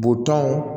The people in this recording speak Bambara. Butɔn